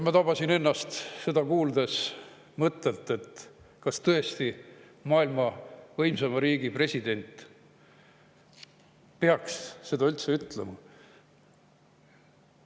" Ma tabasin ennast seda kuuldes mõttelt: kas tõesti maailma võimsaima riigi president peab seda üldse ütlema?